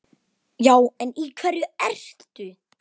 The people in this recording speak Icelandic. Já en í hverju ertu?